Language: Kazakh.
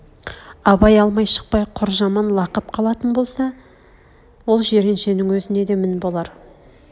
абай алмай шықпай құр жаман лақап қалатын болса ол жиреншенң өзне де мін болар